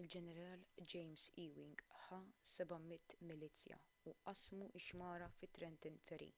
il-ġeneral james ewing ħa 700 milizzja u qasmu x-xmara fi trenton ferry